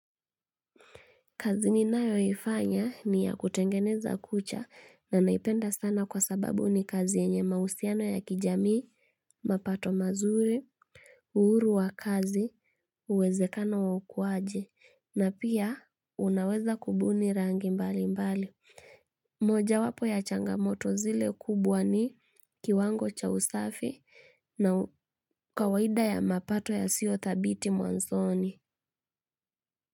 Kazi ninayoifanya ni ya kutengeneza kucha na naipenda sana kwa sababu ni kazi yenye mahusiano ya kijamii, mapato mazuri, uhuru wa kazi, uwezekano wa ukwaji, na pia unaweza kubuni rangi mbali mbali. Moja wapo ya changamoto zile kubwa ni kiwango cha usafi na kawaida ya mapato ya sio thabiti mwanzoni.